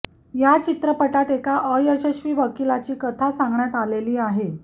या चित्रपटात एका अयशस्वी वकिलाची कथा सांगण्यात आलेली आहे